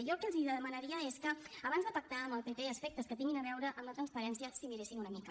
jo el que els demanaria és que abans de pactar amb el pp aspectes que tinguin a veure amb la transparència s’hi miressin una mica